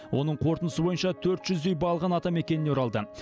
оның қорытындысы бойынша төрт жүздей балғын атамекеніне оралды